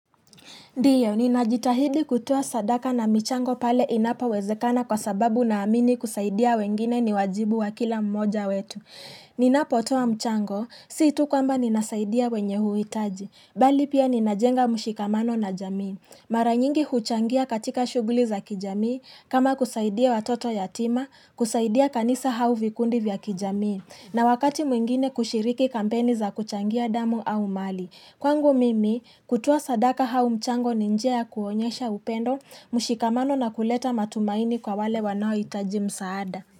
Ndiyo, ninajitahidi kutoa sadaka na mchango pale inapowezekana kwa sababu naamini kusaidia wengine ni wajibu wa kila mmoja wetu. Ninapotoa mchango, si tu kwamba ninasaidia wenye uhitaji. Bali pia ninajenga mushikamano na jamii. Mara nyingi huchangia katika shughuli za kijamii, kama kusaidia watoto yatima, kusaidia kanisa au vikundi vya kijamii, na wakati mwingine kushiriki kampeni za kuchangia damu au mali. Kwangu mimi kutoa sadaka au mchango ni njia kuonyesha upendo mushikamano na kuleta matumaini kwa wale wanao itaji msaada.